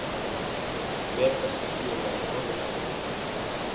Megas spilar á Norðurpólnum